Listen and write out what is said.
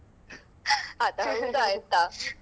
ಅದು ಹೌದಾ ಎಂತ